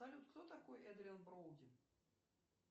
салют кто такой эдриан броуди